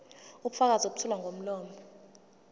ubufakazi obethulwa ngomlomo